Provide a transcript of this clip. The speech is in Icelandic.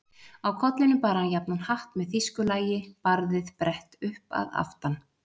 Á kollinum bar hann jafnan hatt með þýsku lagi, barðið brett upp að aftan.